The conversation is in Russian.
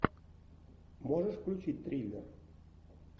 можешь включить триллер